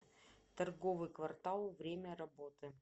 торговый квартал время работы